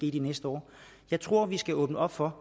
i de næste år jeg tror at vi skal åbne op for